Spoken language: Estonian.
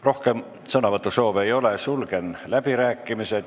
Rohkem sõnavõtusoove ei ole, sulgen läbirääkimised.